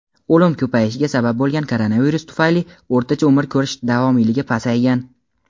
o‘lim ko‘payishiga sabab bo‘lgan koronavirus tufayli o‘rtacha umr ko‘rish davomiyligi pasaygan.